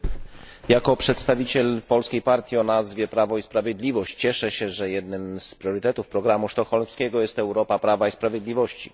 Panie Przewodniczący! Jako przedstawiciel polskiej partii o nazwie Prawo i Sprawiedliwość cieszę się, że jednym z priorytetów programu sztokholmskiego jest Europa prawa i sprawiedliwości.